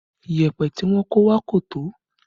Yẹpẹ tí wọn kó wá kò tó